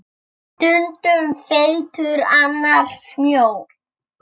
Stundum feitur, annars mjór.